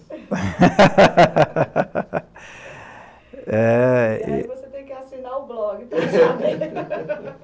É... E aí você tem que assinar o blog, tá chato?